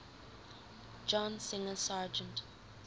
john singer sargent